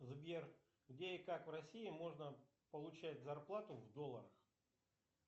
сбер где и как в россии можно получать зарплату в долларах